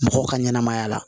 Mɔgɔw ka ɲɛnamaya la